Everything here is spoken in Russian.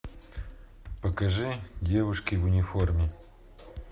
покажи девушки в униформе